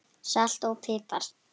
Salt og pipar